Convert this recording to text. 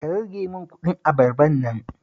Ka rage min kuɗin abarbar nan